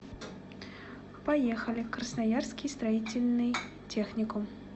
поехали красноярский строительный техникум